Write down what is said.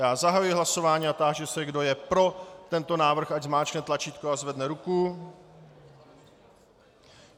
Já zahajuji hlasování a táži se, kdo je pro tento návrh, ať zmáčkne tlačítko a zvedne ruku.